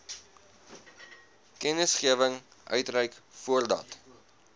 kennisgewing uitreik voordat